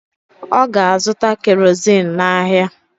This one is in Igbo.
Ọ ga-azụta kerozin n’ahịa.